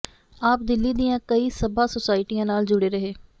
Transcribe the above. ਆਪ ਦਿੱਲੀ ਦੀਆਂ ਕਈ ਸਭਾ ਸੁਸਾਇਟੀਆਂ ਨਾਲ ਜੁੜੇ ਰਹੇ